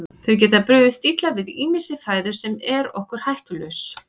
Þeir geta brugðist illa við ýmissi fæðu sem er okkur hættulaus.